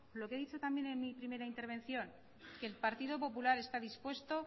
lo que he dicho también en mi primera intervención que el partido popular está dispuesto